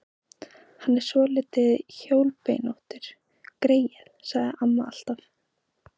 Hann er svolítið hjólbeinóttur, greyið, sagði amma alltaf.